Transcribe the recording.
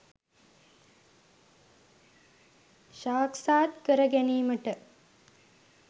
සාක්ෂාත් කර ගැනීමට